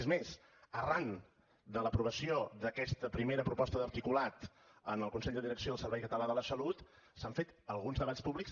és més arran de l’aprovació d’aquesta primera proposta d’articulat en el consell de direcció del servei català de la salut s’han fet alguns debats públics